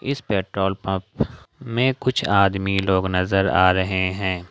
इस petrol pump में कुछ आदमी लोग नजर आ रहे हैं।